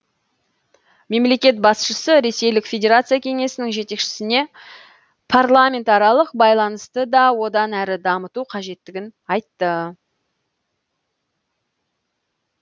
мемлекет басшысы ресейлік федерация кеңесінің жетекшісіне парламентаралық байланысты да одан әрі дамыту қажеттігін айтты